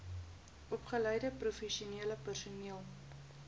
opgeleide professionele personeel